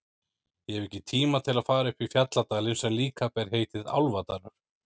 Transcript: Ég hef ekki tíma til að fara upp í fjalladalinn sem líka ber heitið Álfadalur.